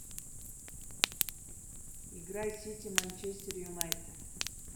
игра сити манчестер юнайтед